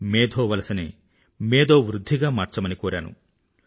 మేధో వలస ని మేధో వృధ్ధిగా మార్చమని కోరాను